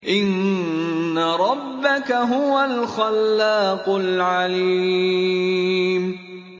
إِنَّ رَبَّكَ هُوَ الْخَلَّاقُ الْعَلِيمُ